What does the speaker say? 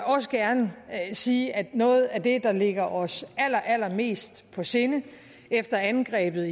også gerne sige at noget af det der ligger os allerallermest på sinde efter angrebet